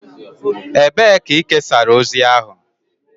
Ebee ka ị kesara ozi ahụ?